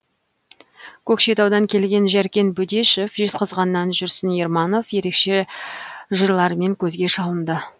көкшетаудан келген жәркен бөдешев жезқазғаннан жүрсін ерманов ерекше жырларымен көзге шалынды